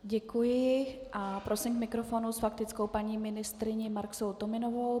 Děkuji a prosím k mikrofonu s faktickou paní ministryni Marksovou-Tominovou.